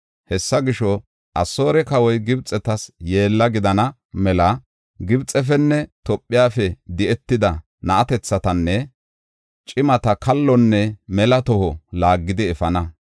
Hessa gisho, Asoore kawoy, Gibxetas yeella gidana mela Gibxefenne Tophefe di7etida na7atethatanne cimata kallonne mela toho laaggidi efana.